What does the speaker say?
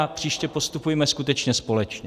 A příště postupujme skutečně společně.